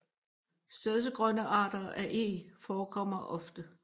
Stedsegrønne arter af Eg forekommer ofte